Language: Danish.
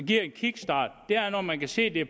give en kickstart når man kan se det